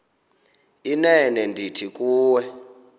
inene ndithi kuwe